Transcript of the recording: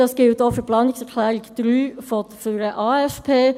Dies gilt auch für die Planungserklärung 3 zum AFP.